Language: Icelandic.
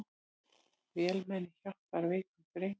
Vélmenni hjálpar veikum dreng